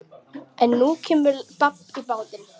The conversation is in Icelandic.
En nú kemur babb í bátinn.